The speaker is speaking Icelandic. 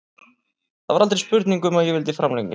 Það var aldrei spurning um að ég vildi framlengja.